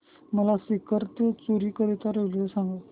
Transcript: मला सीकर ते चुरु करीता रेल्वे सांगा